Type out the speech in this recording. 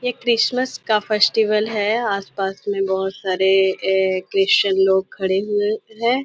ये क्रिसमस का फेस्टिवल है आस पास में बहुत सारे ये क्रिस्चन लोग खड़े हुए है।